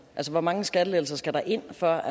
hvor mange skattelettelser skal der ind før